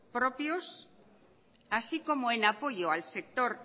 propios así como en apoyo al sector